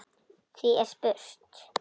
Því er spurt: